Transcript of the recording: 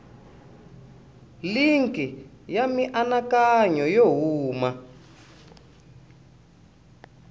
linki ya mianakanyo yo huma